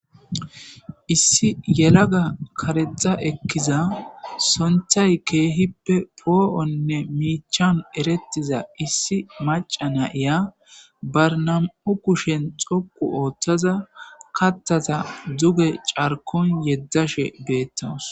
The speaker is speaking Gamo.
Issi yelaga karexa ekkiza sonthay keehippe poo'onne miichan erettiza issi maca nayiya barnam'u kushen xoqu ooththaza kattaza duge carkon yeddashe beettanos